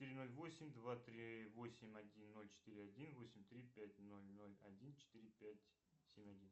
три ноль восемь два три восемь один ноль четыре один восемь три пять ноль ноль один четыре пять семь один